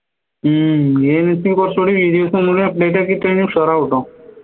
ഹും videos ഒന്നുടി update ആക്കി കഴിഞ്ഞാ ഉഷാറാവുട്ടോ